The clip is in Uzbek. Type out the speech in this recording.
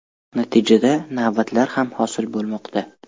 Natijada, navbatlar ham hosil bo‘lmoqda.